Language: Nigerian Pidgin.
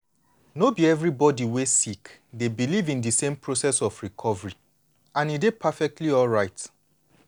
no be everybody wey sick dey believe in di same process of recovery and e dey perfectly alright.